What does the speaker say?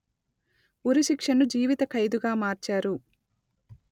ఉరిశిక్షను జీవితఖైదుగా మార్చారు